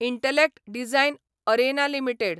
Intellect Design Arena limited